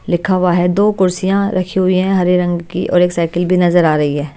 लिखा हुआ हैदो कुर्सियाँ रखी हुई हैं हरे रंग की और एक साइकिल भी नजर आ रही है।